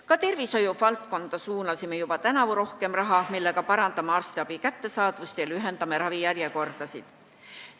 Ka tervishoiu valdkonda suunasime juba tänavu rohkem raha, millega parandame arstiabi kättesaadavust ja lühendame ravijärjekordasid.